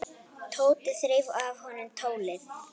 Tóti þreif af honum tólið.